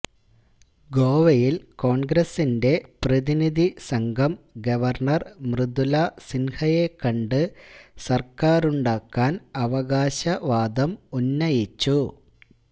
ഗോവയില് കോണ്ഗ്രസിന്റെ പ്രതിനിധിസംഘം ഗവര്ണര് മൃദുല സിന്ഹയെക്കണ്ട് സര്ക്കാരുണ്ടാക്കാന് അവകാശവാദം ഉന്നയിച്ചു